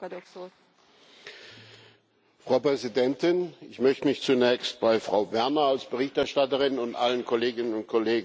Frau Präsidentin! Ich möchte mich zunächst bei Frau Werner als Berichterstatterin und bei allen Kolleginnen und Kollegen für die gute Zusammenarbeit bedanken.